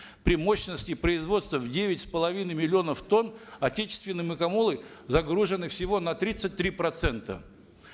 при мощности производства девять с половиной миллионов тонн отечественные мукомолы загружены всего на тридцать три процента